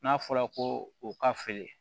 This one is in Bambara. N'a fɔra ko o ka feere